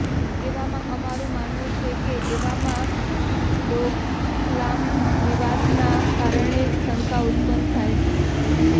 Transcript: એવામાં અમારું માનવું છે કે એવામાં ડોકલામ વિવાદના કારણે જ શંકા ઉત્પન્ન થાય છે